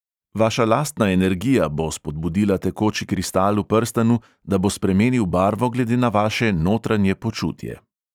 "Vaša lastna energija bo spodbudila tekoči kristal v prstanu, da bo spremenil barvo glede na vaše notranje počutje.